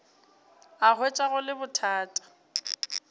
a hwetša go le bothata